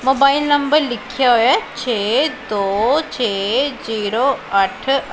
Mobile number ਲਿਖਿਆ ਹੋਇਆ ਛੇ ਦੋ ਛੇ ਜ਼ੀਰੋ ਅੱਠ।